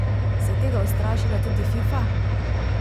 Se je tega ustrašila tudi Fifa?